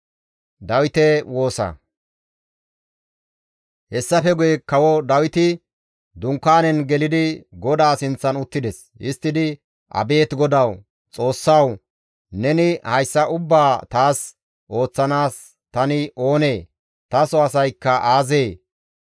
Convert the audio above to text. Hessafe guye Kawo Dawiti dunkaanen gelidi GODAA sinththan uttides; histtidi, «Abeet GODAWU, Xoossawu! Neni hayssa ubbaa taas ooththanaas tani oonee? Taso asaykka aazee?